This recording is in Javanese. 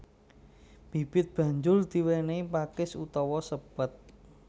Bibit banjur diwénéhi pakis utawa sepet